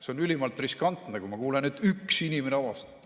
See on ülimalt riskantne, kui ma kuulen, et üks inimene avastati.